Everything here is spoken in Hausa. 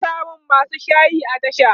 ana samun masu shayi a tasha